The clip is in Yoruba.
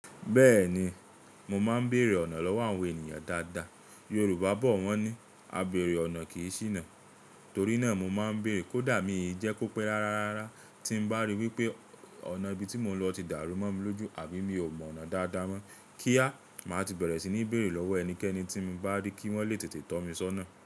Bẹ́ẹ̀ni, mo máa ń bèrè ọ̀nà lọ́wọ́ àwọn ènìyàn dáadáa. Yorùbá bọ̀ wọ́n ní "Àbẹ̀rẹ̀ ọ̀nà kì í ṣìnà" torí náà mo máa ń bèrè kó dà mí ì jẹ́ kó pé rárárarara tí ń bá rí wípé o ọ̀nà ibi tí mò ń lọ ti dàrú mọ́ mi lójú àbí mi ò mọ ọ̀nà dáadáa mọ́ kíá, màá ti bẹ̀rẹ̀ sí ní bèrè lọ́wọ́ ẹnikẹ́ni tí mi bá rí kí wọ́n lè tètè tọ́ mi sọ́nà.